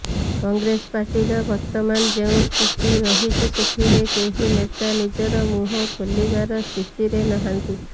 କଂଗ୍ରେସ ପାର୍ଟିର ବର୍ତମାନ ଯେଉଁ ସ୍ଥିତି ରହିଛି ସେଥିରେ କେହି ନେତା ନିଜର ମୁହଁ ଖୋଲିବାର ସ୍ଥିତିରେ ନାହାନ୍ତି